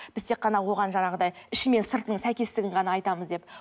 біз тек қана оған жаңағыдай іші мен сыртының сәйкестігін ғана айтамыз деп